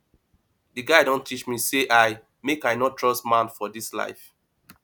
di guy don teach me sey i make i no trust man for dis life